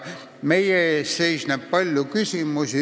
Meie ees seisab palju küsimusi.